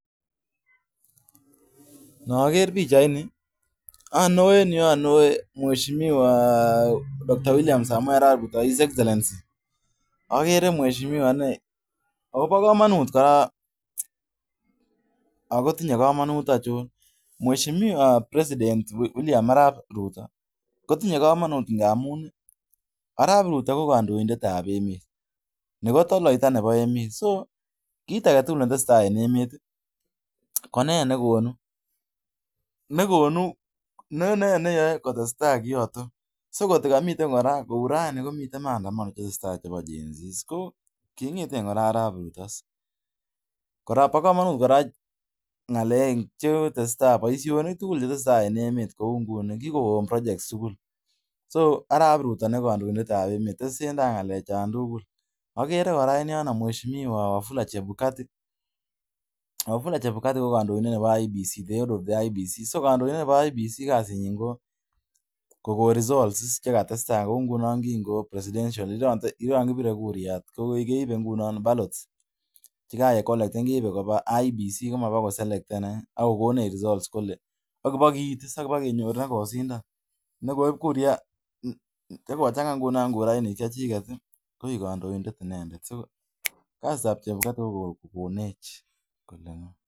Noger bichaini mweshiwa William samei arap bruto bokomonut aichon mweshimiwa wilia arap ruto kotinge komonut ngamun arap ruto ko kondoindet tab emet toloita nebo emet kit agetugul netesetai en emet ko nendet negonu neyoe kotestai kyoton kotukomuiten mandamono tesetai chebi Jen z bokomonut boishonik chetesetai en emet akere kora en yono nmweshimiwa wafula chebukati kasinyin ko kokon results yon kibire kura ko ballot keibe koba IEBC alit kenyoru nekoibkura koigu kondoindet nendet